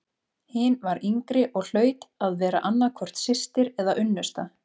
Hin var yngri og hlaut að vera annað hvort systir eða unnusta.